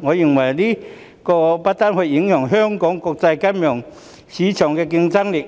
我認為這不單會影響香港在國際金融市場的競爭力，